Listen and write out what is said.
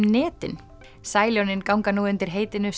netin ganga nú undir heitinu